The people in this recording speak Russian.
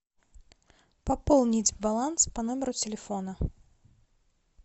пополнить баланс по номеру телефона